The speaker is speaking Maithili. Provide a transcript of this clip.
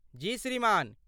जी श्रीमान।